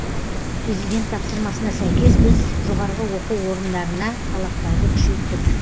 президент тапсырмасына сәйкес біз жоғары оқу орындарына талаптарды күшейттік